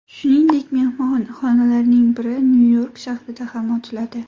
Shuningdek, mehmonxonalarning biri Nyu-York shahrida ham ochiladi.